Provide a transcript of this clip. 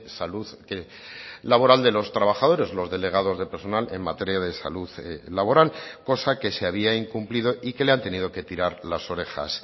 salud laboral de los trabajadores los delegados de personal en materia de salud laboral cosa que se había incumplido y que le han tenido que tirar las orejas